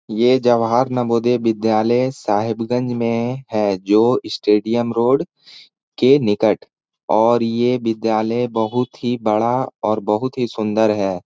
यह जवाहर नवोदय विद्यायल साहेबगंज में है। जो स्टेडियम रोड के निकट और यह विद्यायल बहुत ही बड़ा और बहुत ही सुंदर है।